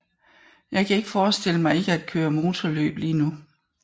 Jeg kan ikke forestille mig ikke at køre motorløb lige nu